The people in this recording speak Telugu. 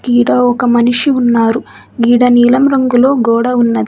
గీడ ఒక మనిషి ఉన్నారు. గీడ నీలం రంగులో గోడ ఉన్నది.